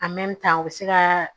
u bɛ se ka